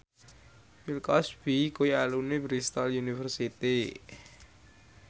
Bill Cosby kuwi alumni Bristol university